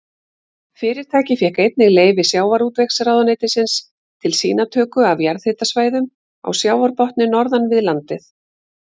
Fyrirtækið fékk einnig leyfi sjávarútvegsráðuneytisins til sýnatöku af jarðhitasvæðum á sjávarbotni norðan við landið.